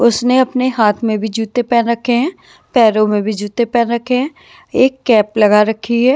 उसने अपने हाथ में भी जूते पहन रखे हैं पैरों में भी जूते पहन रखे हैं एक कैप लगा रखी है।